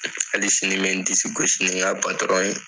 Hali sini n bɛ n disi gosi ni n ka ye.